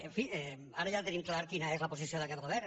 en fi ara ja tenim clar quina és la posició d’aquest govern